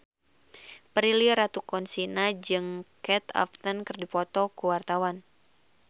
Prilly Latuconsina jeung Kate Upton keur dipoto ku wartawan